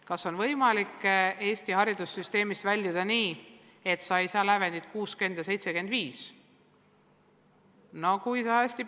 Kas on võimalik Eesti haridussüsteemis põhikool lõpetada nii, et sa ei saavuta lävendit 60 ja 75 punkti?